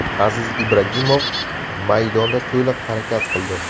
Aziz Ibragimov maydonda to‘liq harakat qildi.